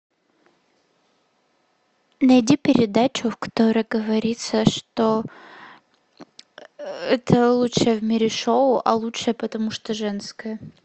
найди передачу в которой говорится что это лучшее в мире шоу а лучшее потому что женское